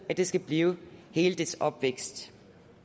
skal blive i hele dets opvækst